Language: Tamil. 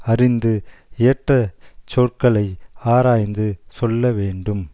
அறிந்து ஏற்ற சொற்களை ஆராய்ந்து சொல்ல வேண்டும்